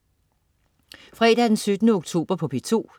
Fredag den 17. oktober - P2: